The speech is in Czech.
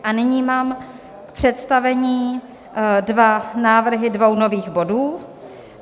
A nyní mám k představení dva návrhy dvou nových bodů.